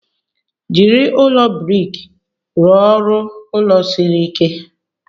Jiri ụlọ brik rụọ ọrụ ulo siri ike.